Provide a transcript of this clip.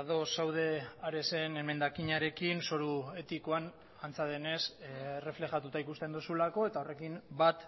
ados zaude aresen emendakinarekin zoru etikoan antza denez erreflejatuta ikusten duzulako eta horrekin bat